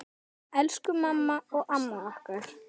Elsku mamma og amma okkar.